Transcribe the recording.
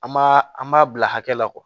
An m'a an b'a bila hakɛ la